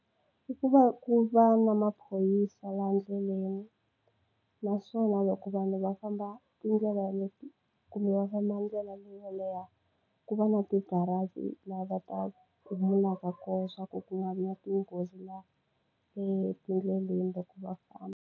I ku va ku va na maphorisa laha ndleleni, naswona loko vanhu va famba tindlela leti kumbe va famba ndlela leyo leha, ku va na ti-garage laha va ta kona leswaku ku nga vi na tinghozi laha etindleleni loko va famba.